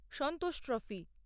Santosh trophy